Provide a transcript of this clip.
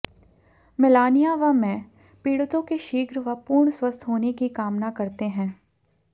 Melania व मैं पीड़ितों के शीघ्र व पूर्ण स्वस्थ होने की कामना करते हैं